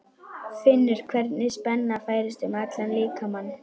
Finnur hvernig spenna færist um allan líkamann.